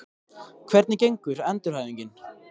Hvernig gengur endurhæfingin?